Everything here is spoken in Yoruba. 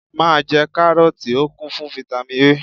Be eating Kárọ́ọ́tì, ó kún fún Fáítámì A.